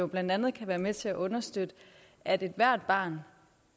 blandt andet kan være med til at understøtte at ethvert barn